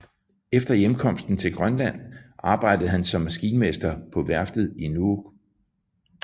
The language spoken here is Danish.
Efter hjemkomsten til Grønland arbejdede han som maskinmester på værftet i Nuuk